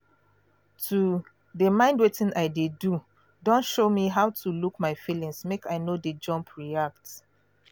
to de mind wetin i de do don show me how to look my feelings make i no de jump react